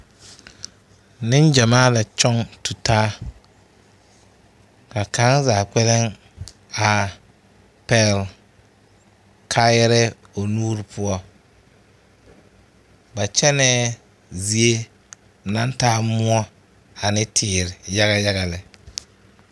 Neŋgyamaa la kyoŋ tutaa, ka kaŋa zaa kpԑlem a pԑgele kaayԑrԑԑ o nuuri poͻ. Ba kyԑnԑԑ zie naŋ taa mõͻ ane teere yaga yaga lԑ.